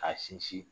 K'a sinsin